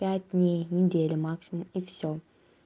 пять дней недели максимум и все